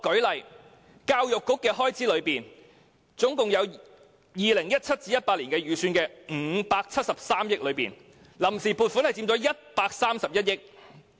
以教育開支為例 ，2017-2018 年度總預算573億元中，臨時撥款佔131億元。